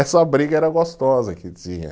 Essa briga era gostosa que tinha.